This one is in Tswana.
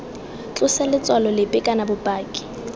tlose letshwao lepe kana bopaki